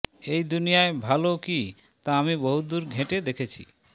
এই দুনিয়ায় ভালো কী তা আমি বহুদূর ঘেঁটে দেখেছি